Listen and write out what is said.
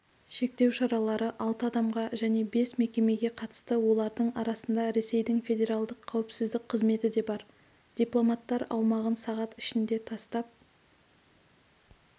шектеу шаралары алты адамға және бес мекемеге қатысты олардың арасында ресейдің федеральдық қауіпсіздік қызметі де бар дипломаттар аумағын сағат ішінде тастап